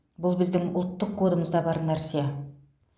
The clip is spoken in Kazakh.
бұл біздің ұлттық кодымызда бар нәрсе